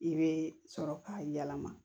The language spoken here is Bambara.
I bɛ sɔrɔ k'a yɛlɛma